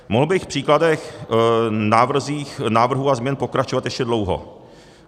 Mohl bych v příkladech návrhů a změn pokračovat ještě dlouho.